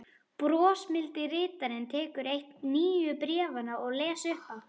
Brosmildi ritarinn tekur eitt nýju bréfanna og les upphátt